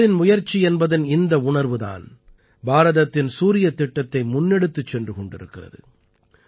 அனைவரின் முயற்சி என்பதன் இந்த உணர்வு தான் பாரதத்தின் சூரியத் திட்டத்தை முன்னெடுத்துச் சென்று கொண்டிருக்கிறது